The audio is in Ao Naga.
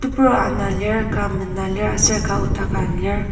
tebur ana lir ka mena lir aser ka nokdaka lir.